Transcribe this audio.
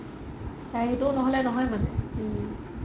তাইৰ সেইটো নহ'লে নহয় মানে